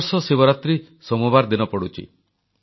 ଏ ବର୍ଷ ଶିବରାତ୍ରୀ ସୋମବାର ଦିନ ପଡ଼ୁଛି